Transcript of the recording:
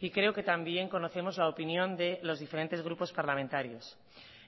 y creo que también conocemos la opinión de los diferentes grupos parlamentarios